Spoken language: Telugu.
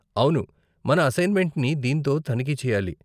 అవును మన అసైన్మెంట్ని దీనితో తనిఖీ చెయ్యాలి.